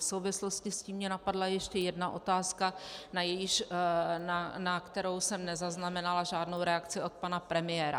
V souvislosti s tím mě napadla ještě jedna otázka, na kterou jsem nezaznamenala žádnou reakci od pana premiéra.